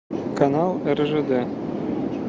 канал ржд